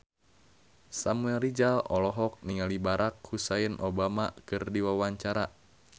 Samuel Rizal olohok ningali Barack Hussein Obama keur diwawancara